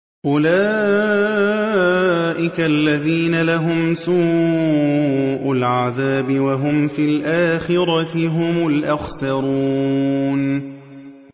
أُولَٰئِكَ الَّذِينَ لَهُمْ سُوءُ الْعَذَابِ وَهُمْ فِي الْآخِرَةِ هُمُ الْأَخْسَرُونَ